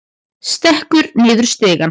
Stekkur niður stigann.